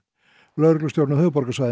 lögreglustjórinn á höfuðborgarsvæðinu